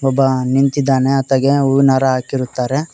ಒಬ್ಬ ನಿಂತಿದಾನೆ ಆತಗೆ ಹೂವಿನ ಹಾರ ಹಾಕಿರುತ್ತಾರೆ.